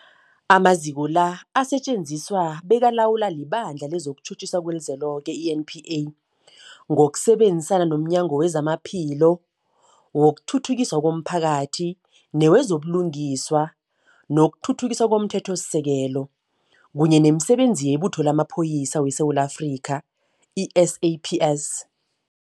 Amaziko la asetjenziswa bekalawulwa liBandla lezokuTjhutjhisa leliZweloke, i-NPA, ngokusebenzisana nomnyango wezamaPhilo, wokuthuthukiswa komphakathi newezo buLungiswa nokuThuthukiswa komThethosisekelo, kunye nemiSebenzi yeButho lamaPholisa weSewula Afrika, i-SAPS.